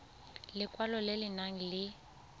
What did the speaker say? lekwalo le le nang le